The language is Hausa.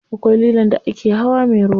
Akwai lilon da ake hawa me ruwa.